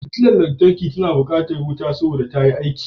Futular lantarki na bukatar wuta saboda tayi aiki